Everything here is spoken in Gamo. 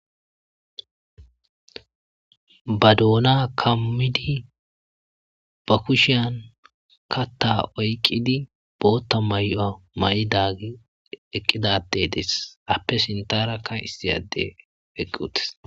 Ba doona kamidi ba kushhiyan kaatha oykidi bootha mayo mayidagey eqidadey dees ape sintharaka issi addey eqi uttis